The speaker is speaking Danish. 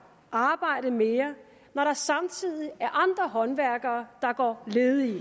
arbejde mere når der samtidig er andre håndværkere der går ledige